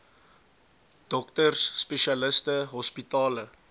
dokters spesialiste hospitale